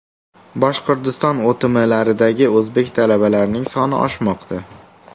Boshqirdiston OTMlaridagi o‘zbek talabalarining soni oshmoqda.